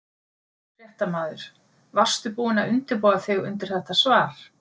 Fréttamaður: Varstu búinn að undirbúa þig undir þetta svar?